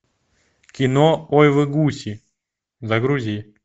кино ой вы гуси загрузи